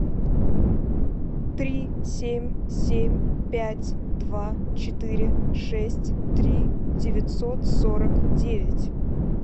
три семь семь пять два четыре шесть три девятьсот сорок девять